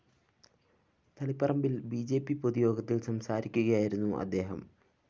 തളിപ്പറമ്പില്‍ B J P പൊതുയോഗത്തില്‍ സംസാരിക്കുകയായിരുന്നു അദ്ദേഹം